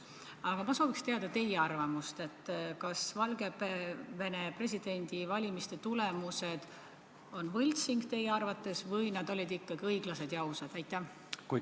Aga ma sooviks teada teie arvamust: kas Valgevene presidendivalimiste tulemused on teie arvates võltsitud või olid need valimised ikkagi õiglased ja ausad?